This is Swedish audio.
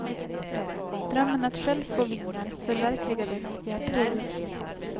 Drömmen att själv få vingar förverkligades i april.